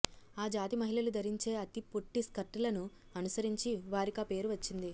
ఆ జాతి మహిళలు ధరించే అతి పొట్టి స్కర్టులను అనుసరించి వారికా పేరు వచ్చింది